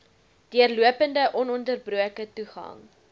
deurlopende ononderbroke toegang